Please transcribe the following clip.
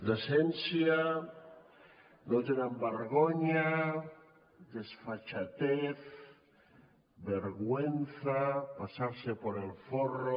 decència no tenen vergonya desfachatez vergüenza pasarse por el forro